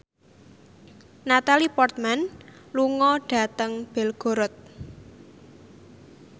Natalie Portman lunga dhateng Belgorod